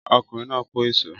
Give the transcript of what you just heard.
Ọkùnrin náà kọ́ isọ̀